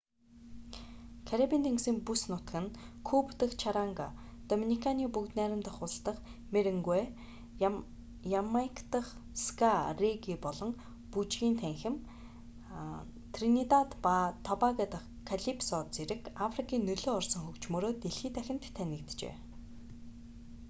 карибын тэнгисийн бүс нутаг нь куба дахь чаранга доминиканы бүгд найрамдах улс дахь меренгуэ ямайк дахь ска регги болон бүжгийн танхим тринидад ба тобаго дахь калипсо зэрэг африкийн нөлөө орсон хөгжмөөрөө дэлхий дахинд танигджээ